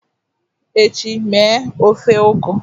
echi, mee ofe ugu!